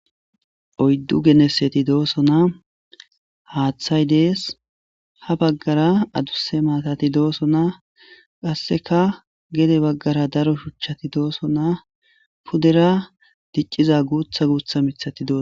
Oyddu geneseti dooso na haaththay dees ha baggara aduse maatati dooso na qasseka gede baggara daro shuchchati dooso naa pudera dicciza guutha guutha mithati dooso.